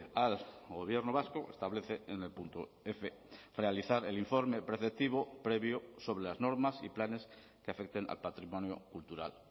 al gobierno vasco establece en el punto f realizar el informe preceptivo previo sobre las normas y planes que afecten al patrimonio cultural